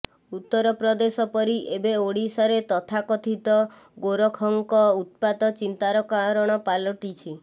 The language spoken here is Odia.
ଉତର ପ୍ରଦେଶ ପରି ଏବେ ଓଡିଶାରେ ତଥାକଥିତ ଗୋରକ୍ଷକଙ୍କ ଉତ୍ପାତ ଚିନ୍ତାର କାରଣ ପାଲଟିଛି